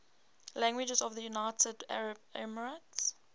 languages of the united arab emirates